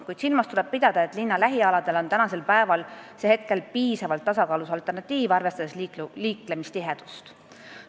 Kuid tuleb silmas pidada, et linna lähialadel on see praegu piisavat tasakaalu pakkuv alternatiiv, arvestades liiklemistihedust.